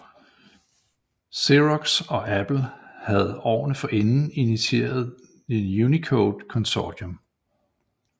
Xerox og Apple havde årene forinden initieret The Unicode Consortium